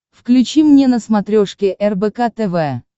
включи мне на смотрешке рбк тв